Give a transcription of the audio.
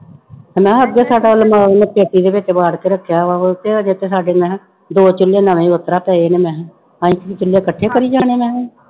ਤੇ ਮੈਂ ਕਿਹਾ ਅੱਗੇ ਸਾਡਾ ਉਹਨੇ ਮਾਂ ਨੇ ਪੇਟੀ ਦੇ ਵਿੱਚ ਵਾੜ ਕੇ ਰੱਖਿਆ ਵਾ ਉਹ ਤੇ ਹਜੇ ਤੇ ਸਾਡੇ ਮੈਂ ਕਿਹਾ ਦੋ ਚੁੱਲੇ ਨਵੇਂ ਹੀ ਉਸ ਤਰ੍ਹਾਂ ਪਏ ਨੇ ਮੈਂ ਕਿਹਾ ਅਸੀਂ ਚੁੱਲੇ ਇਕੱਠੇ ਕਰੀ ਜਾਣੇ ਮੈਂ ਕਿਹਾ।